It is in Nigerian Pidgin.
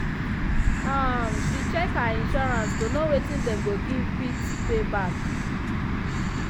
um she check her insurance to know wetin dem go fit pay back.